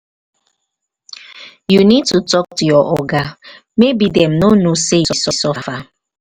you need to tak to your oga maybe dem no know sey you suffer